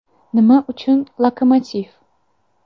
Nima uchun ‘Lokomotiv’?